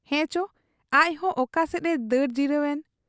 ᱦᱮᱸᱪᱚ ᱟᱡᱦᱚᱸ ᱚᱠᱟ ᱥᱮᱫ ᱮ ᱫᱟᱹᱲ ᱡᱤᱛᱟᱹᱣ ᱮᱱ ᱾